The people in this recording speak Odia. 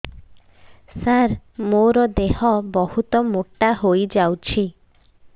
ସାର ମୋର ଦେହ ବହୁତ ମୋଟା ହୋଇଯାଉଛି